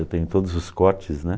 Eu tenho todos os cortes, né?